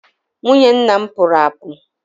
Nwunye nna m pụrụ apu.